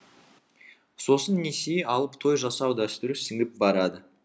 сосын несие алып той жасау дәстүрі сіңіп барады